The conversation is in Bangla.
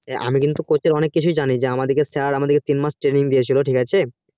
আমি কিন্তু coach এর অনেক কিছু জানি আমাদিকে sir আমাদিকে তিনমাস time লেগেছিলো ঠিক আছে